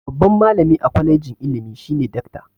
Babban malami a kwalijin ilimi shine dakta.